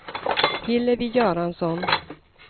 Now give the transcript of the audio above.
Hillevi Göransson